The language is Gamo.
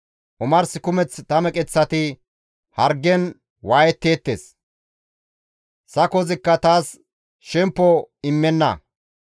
Omars kumeth ta meqeththati hargen waayetteettes; sakozikka taas shemppo immenna.